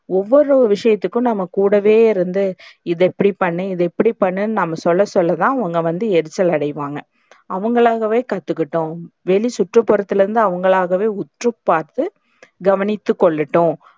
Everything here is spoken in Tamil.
ஒவ்வொரு விஷயத்துக்கும் நம்ம கூடவே இருந்து இத இப்டி பண்ணு இத இப்டி பண்ணு னு நாம்ம சொல்ல சொல்லத்தா அவங்க எரிச்சல் அடைவாங்க, அவங்களாகவே கத்துக்கட்டும். வெளிசுற்றுப்புறத்துல இருந்து அவங்களாகவே உற்றுப்பார்த்து கவனித்துக்கொள்ளட்டும்.